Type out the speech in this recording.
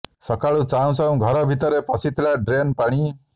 ସକାଳୁ ଚାହୁଁ ଚାହୁଁ ଘର ଭିତରେ ପଶିଥିଲା ଡ୍ରେନ୍ ପାଣି